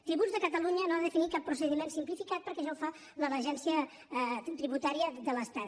tributs de catalunya no ha de definir cap procediment simplificat perquè ja ho fa l’agència tributària de l’estat